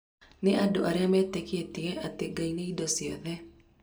Nĩ andũarĩa metĩkĩtie atĩ "Ngai nĩ indo cĩothe"